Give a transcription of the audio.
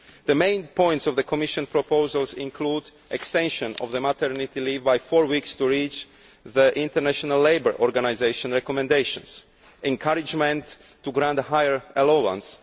The main points of the Commission proposals include extension of maternity leave by four weeks to reach the International Labour Organisation recommendations encouragement to grant a higher allowance